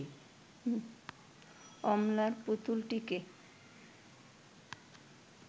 অমলার পুতুলটিকে